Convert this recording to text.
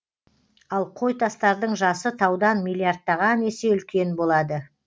ал қойтастардың жасы таудан миллиардтаған есе үлкен болады